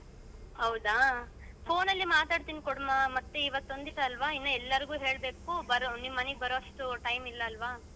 ಹೌದಾ phone ನಲ್ಲೆ ಮಾತಾಡ್ತೀನಿ ಕೊಡ್ಮ ಮತ್ತೆ ಇವತ್ತ್ ಒಂದಿವ್ಸ ಅಲ್ವ ಇನ್ನ್ ಎಲ್ರಿಗೂ ಹೇಳ್ಬೇಕು ಬರೋ ನಿಮ್ ಮನೆಗ್ ಬರುವಷ್ಟು time ಇಲ್ಲ ಅಲ್ವ.